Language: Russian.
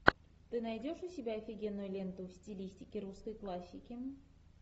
ты найдешь у себя офигенную ленту в стилистике русской классики